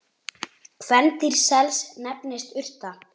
Kvendýr sels nefnist urta.